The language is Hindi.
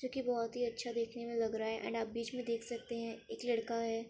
जो कि बहुत ही अच्छा देखने में लग रहा है। एंड आप बीच में देख सकते हैं। एक लड़का है।